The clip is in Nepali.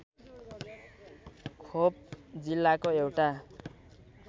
ख्वप जिल्लाको एउटा